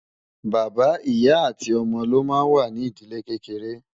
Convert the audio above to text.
bàbá, ìyá àti ómó ló má ń wà nì ídìlé kékeré